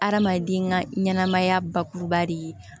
Adamaden ka ɲɛnɛmaya bakuruba de ye